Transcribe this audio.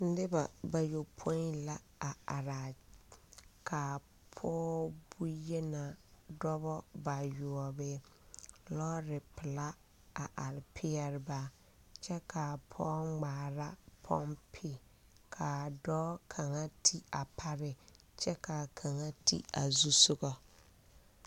Neba ba yɔpoi la a are a ka a pɔge bonyenaa dɔbɔ ayoɔbii lɔɔre pelaa a are peɛle ba kyɛ kaa pɔge ŋmaara pɔmpi kaa dɔɔ kaŋa ti a pare kyɛ kaa kaŋa ti a zu soga.